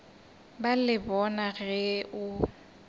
ba le bona ge o